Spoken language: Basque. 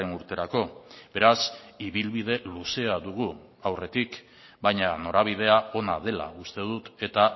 urterako beraz ibilbide luzea dugu aurretik baina norabidea ona dela uste dut eta